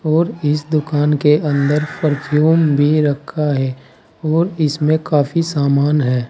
और इस दुकान के अंदर परफ्यूम भी रखा है और इसमें काफी सामान है।